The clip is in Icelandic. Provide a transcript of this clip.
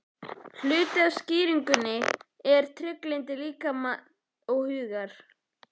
Hluti af skýringunni er trygglyndi líkama og hugar.